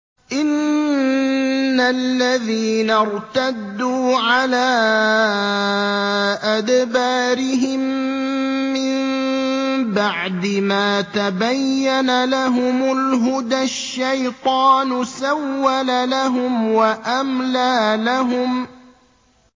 إِنَّ الَّذِينَ ارْتَدُّوا عَلَىٰ أَدْبَارِهِم مِّن بَعْدِ مَا تَبَيَّنَ لَهُمُ الْهُدَى ۙ الشَّيْطَانُ سَوَّلَ لَهُمْ وَأَمْلَىٰ لَهُمْ